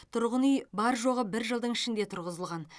тұрғын үй бар жоғы бір жылдың ішінде тұрғызылған